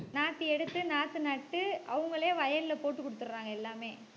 நாத்து எடுத்து நாத்து நட்டு அவங்களே வயல்ல போட்டு கொடுத்துடுறாங்க எல்லாமே.